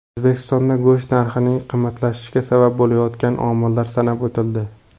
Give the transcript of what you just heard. O‘zbekistonda go‘sht narxining qimmatlashishiga sabab bo‘layotgan omillar sanab o‘tildi.